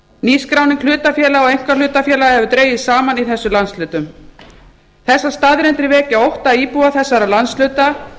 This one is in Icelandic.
nýskráning hlutafélaga og einkahlutafélaga hefur dregist saman í þessum landshlutum þessar staðreyndir vekja ótta íbúa þessara landshluta